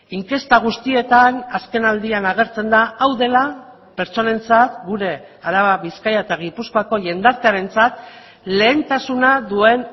inkesta guztietan azkenaldian agertzen da hau dela pertsonentzat gure araba bizkaia eta gipuzkoako jendartearentzat lehentasuna duen